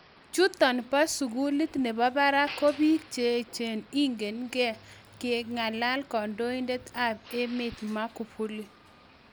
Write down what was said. Chuton boo sukuliit nebo barak ko biik cheechen , ingen kee ", kakalaan kandoindet ab emet Magufuli.